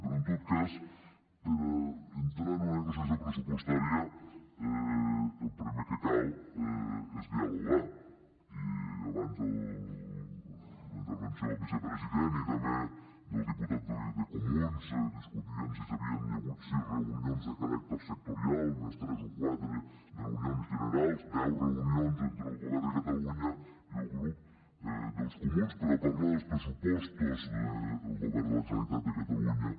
però en tot cas per entrar en una negociació pressupostària el primer que cal és dialogar i abans la intervenció del vicepresident i també del diputat de comuns discutien si hi havia hagut sis reunions de caràcter sectorial més tres o quatre reunions generals deu reunions entre el govern de catalunya i el grup dels comuns per parlar dels pressupostos del govern de la generalitat de catalunya